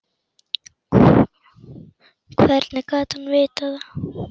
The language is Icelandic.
Hvernig gat hann vitað það.